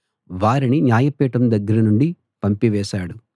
వారిని న్యాయపీఠం దగ్గర నుండి పంపివేశాడు